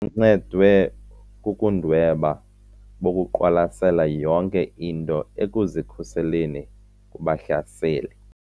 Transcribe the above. Uncedwe bubundwebi bokuqwalasela yonke into ekuzikhuseleni kubahlaseli.